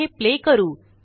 आता हे प्ले करू